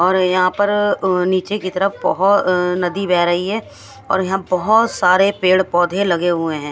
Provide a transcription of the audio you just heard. और यहाँ पर नीचे की तरफ बहो नदी बह रही है और यहाँ बहोत सारे पेड़-पौधे लगे हुए हैं।